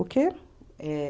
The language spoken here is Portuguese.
O quê? Eh...